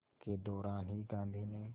के दौरान ही गांधी ने